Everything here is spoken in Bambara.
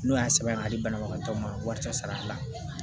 N'o y'a sɛbɛn ka di banabagatɔ ma wari taa sara la